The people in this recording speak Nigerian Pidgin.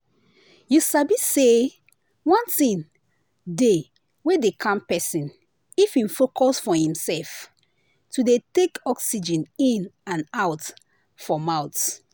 you sabi say one thing dey wey dey calm person if hin focus for hin self to dey take oxygen in and out for mouth.